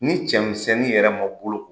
Ni cɛmisɛnnin yɛrɛ ma bolo